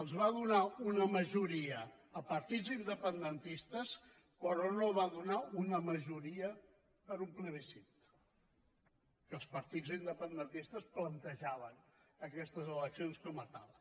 es va donar una majoria a partits independentistes però no va donar una majoria per a un plebiscit que els partits independentistes plantejaven aquestes eleccions com a tal